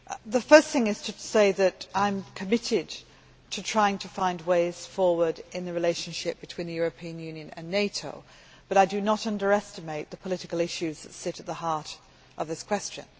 The first thing to say is that I am committed to trying to find ways forward in the relationship between the European Union and NATO, but I do not underestimate the political issues that sit at the heart of this question.